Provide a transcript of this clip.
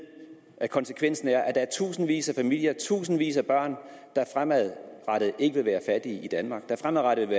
at konsekvensen er at der er tusindvis af familier tusindvis af børn der fremadrettet ikke vil være fattige i danmark der fremadrettet vil